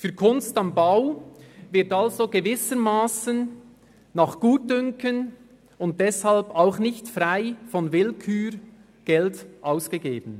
Für «Kunst am Bau» wird also gewissermassen nach Gutdünken und deshalb auch nicht frei von Willkür Geld ausgegeben.